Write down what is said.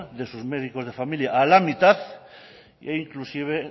de sus médicos de familia a la mitad e inclusive